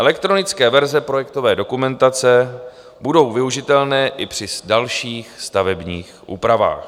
Elektronické verze projektové dokumentace budou využitelné i při dalších stavebních úpravách.